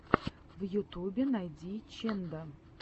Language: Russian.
в ютюбе найди ченда